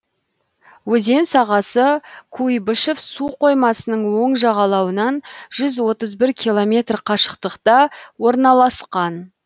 өзен сағасы куйбышев су қоймасының оң жағалауынан жүз отыз бір километр қашықтықта орналасқан